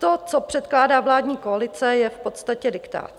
To, co předkládá vládní koalice, je v podstatě diktát.